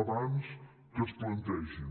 abans que es plantegin